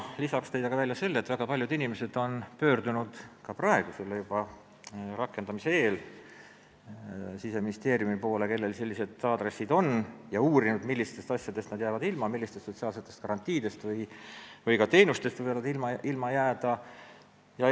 Lisaks tõi ta välja, et väga paljud inimesed, kellel on sellised aadressid, on pöördunud juba praegu, selle seaduse rakendamise eel, Siseministeeriumi poole ja uurinud, millistest asjadest – sotsiaalsetest garantiidest või ka teenustest – nad ilma jääda võivad.